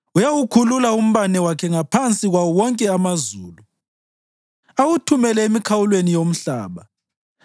Uyawukhulula umbane wakhe ngaphansi kwawo wonke amazulu awuthumele emikhawulweni yomhlaba.